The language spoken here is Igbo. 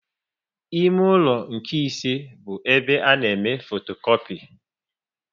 Ime ụlọ nke ise bụ ebe a na eme fotokopi